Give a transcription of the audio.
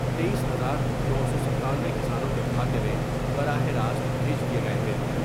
تئیس ہزار نو سو ستانوے کسانوں کے کھاتوں میں براہ راست بھیج دیئے گئے ہے ۔